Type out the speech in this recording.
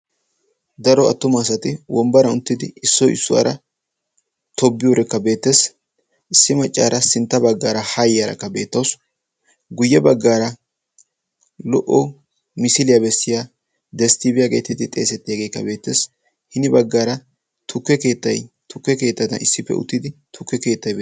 daro attuma asati wombbara uttidi issoi issuwaara tobbiyuurekka beettees issi maccaara sintta baggaara haayyaarakka beettausu guyye baggaara lo''o misiiliyaa bessiya desttiibiyaageetidi xeesetteegeekka beettees hini baggaara keettai tukke keettada issippe uttidi tukke keettai be